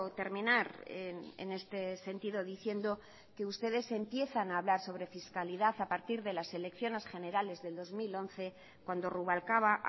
terminar en este sentido diciendo que ustedes empiezan a hablar sobre fiscalidad a partir de las elecciones generales del dos mil once cuando rubalcaba